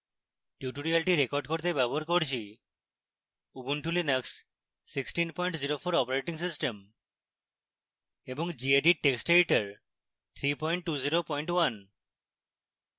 tutorial record করতে ব্যবহার করছি উবুন্টু লিনাক্স 1604 অপারেটিং সিস্টেম এবং gedit টেক্সট এডিটর 3201